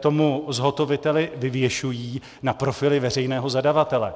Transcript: tomu zhotoviteli, vyvěšují na profily veřejného zadavatele.